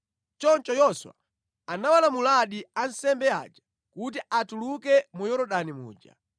Choncho Yoswa anawalamuladi ansembe aja kuti atuluke mu Yorodani muja.